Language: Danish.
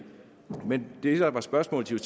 men det der var spørgsmålet til